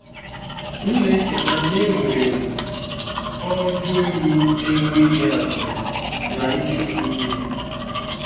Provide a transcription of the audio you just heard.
M na-echeta na enwere m ọ joyụ na-enweghị atụ na ike dị n'ime.